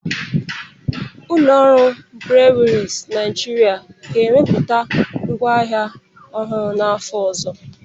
Ụlọ ọrụ Briwiri Naịjịrịa ga-ewepụta ngwa ahịa ọhụrụ n'afọ ọzọ.